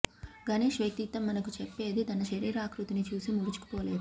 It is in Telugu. గణేష్ వ్యక్తిత్వం మనకు చెప్పేది తన శరీరాకృతిని చూసి ముడుచుకుపోలేదు